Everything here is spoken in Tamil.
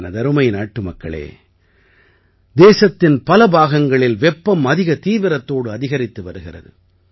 எனதருமை நாட்டுமக்களே தேசத்தின் பல பாகங்களில் வெப்பம் அதிக தீவிரத்தோடு அதிகரித்து வருகிறது